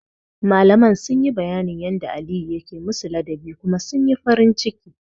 Malaman sun yi bayanin yanda Aliyu yake musu ladabi kuma sun yi farin ciki.